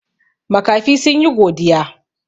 Makafi sun yi godiya.